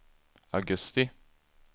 augusti